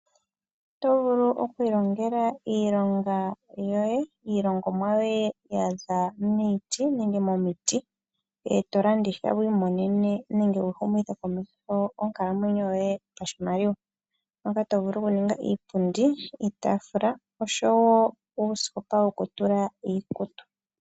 Oto vulu oku ilongela iilongomwa yoye ya za miiti nenge momiti e to landitha wu imonene nenge wu humithe komeho onkalamwenyo yoye pashimaliwa moka to vulu okuninga iipundi, iitaafula oshowo uusikopa wokutula iikutu.